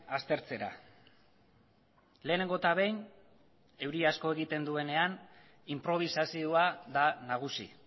aztertzera lehenengo eta behin euri asko egiten duenean inprobisazioa da nagusi